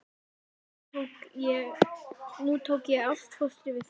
Nú tók ég ástfóstri við þær.